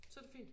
Så det fint?